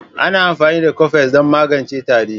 Ana amfani da Cofes don magance tari.